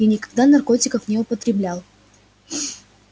я никогда наркотиков не употреблял